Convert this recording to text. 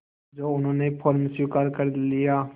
जो उन्होंने फ़ौरन स्वीकार कर लिया